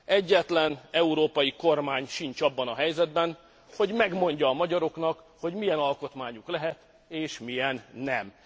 egyetlen európai kormány sincs abban a helyzetben, hogy megmondja a magyaroknak, hogy milyen alkotmányuk lehet és milyen nem.